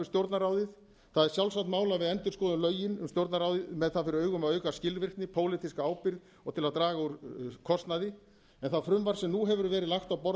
stjórnarráðið það er sjálfsagt mál að við endurskoðum lögin um stjórnarráðið með það fyrir augum að auka skilvirkni pólitíska ábyrgð og til að draga úr kostnaði en það frumvarp sem nú hefur verið lagt á borð